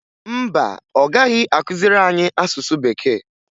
Mba, ọ gaghị akụziri anyị asụsụ Bekee